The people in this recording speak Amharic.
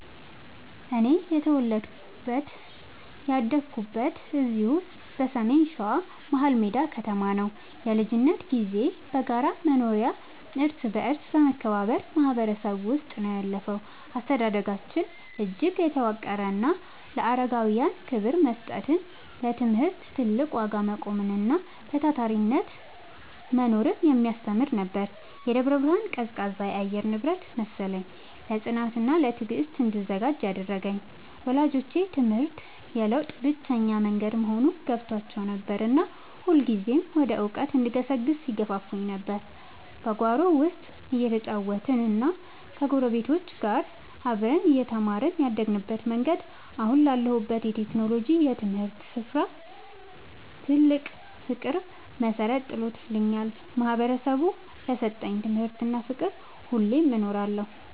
እኔ የተወለድኩትና ያደግኩት እዚሁ በሰሜን ሸዋ፣ መሀልሜዳ ከተማ ነው። የልጅነት ጊዜዬ በጋራ መኖሪያና እርስ በርስ በመከባበር ማህበረሰብ ውስጥ ነው ያለፈው። አስተዳደጋችን እጅግ የተዋቀረና ለአረጋውያን ክብር መስጠትን፣ ለትምህርት ትልቅ ዋጋ መቆምንና በታታሪነት መኖርን የሚያስተምር ነበር። የደብረ ብርሃን ቀዝቃዛ የአየር ንብረት መሰለኝ፣ ለጽናትና ለትዕግስት እንድዘጋጅ ያደረገኝ። ወላጆቼ ትምህርት የለውጥ ብቸኛው መንገድ መሆኑን ገብቷቸው ነበርና ሁልጊዜም ወደ እውቀት እንድገሰግስ ይገፋፉኝ ነበር። በጓሮ ውስጥ እየተጫወትንና ከጎረቤቶች ጋር አብረን እየተማርን ያደግንበት መንገድ፣ አሁን ላለሁበት የቴክኖሎጂና የትምህርት ስራ ፍቅር መሰረት ጥሎልኛል። ማህበረሰቡ ለሰጠኝ ትምህርትና ፍቅር ሁሌም እኖራለሁ።